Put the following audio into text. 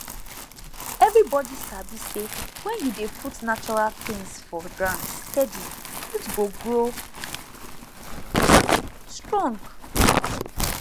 everybody sabi say when you dey put natural things for ground steady root go grow strong